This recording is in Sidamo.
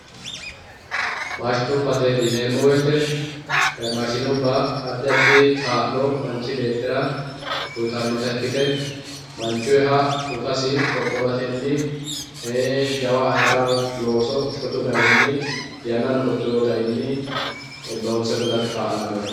maashinubbate yineemo woyiite maashinubba addi addi kaa'lo manchi beettira uyiitannota ikkite manchuyiiha dhukasi qodhowatenni jawa ayiira looso shotu garinni yannano qodhoweyoo garinni loonse gudate kaa'lanoreeti.